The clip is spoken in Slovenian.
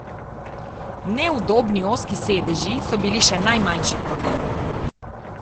Neudobni ozki sedeži so bili še najmanjši problem.